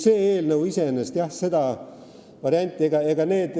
See eelnõu aga iseenesest, jah, seda varianti ei käsitle.